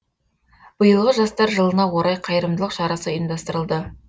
биылғы жастар жылына орай қайырымдылық шарасы ұйымдастырылды